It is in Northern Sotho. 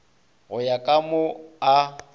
go ya ka mo a